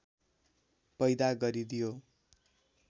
पैदा गरिदियो